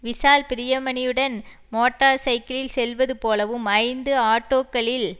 விஷால் பிரியமணியுடன் மோட்டார் சைக்கிளில் செல்வது போலவும் ஐந்து ஆட்டோக்களில்